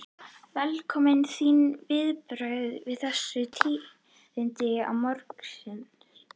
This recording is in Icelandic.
Velkominn, þín viðbrögð við þessum tíðindum morgunsins?